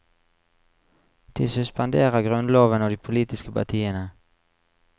De suspenderer grunnloven og de politiske partiene.